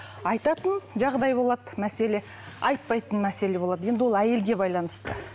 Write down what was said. айтатын жағдай болады мәселе айтпайтын мәселе болады енді ол әйелге байланысты